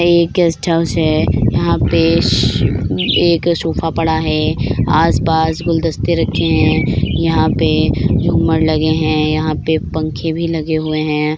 ये एक guest house है यहाँ पे एक सोफे पड़ा है आस-पास गुलदस्ते रखे हैं यहाँ पे झूमर लगे हैं यहाँ पे पंखे भी लगे हुए हैं।